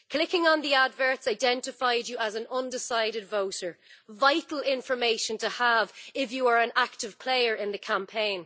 Clicking on the adverts identified you as an undecided voter, vital information to have if you are an active player in the campaign.